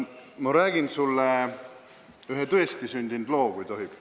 Ma räägin sulle ühe tõestisündinud loo, kui tohib.